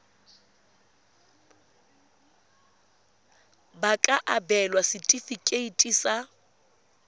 ba ka abelwa setefikeiti sa